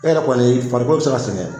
E yɛrɛ kɔni farikolo be se ga sɛgɛn